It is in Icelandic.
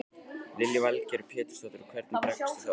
Lillý Valgerður Pétursdóttir: Og hvernig bregstu þá við?